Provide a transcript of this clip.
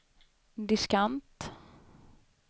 diskant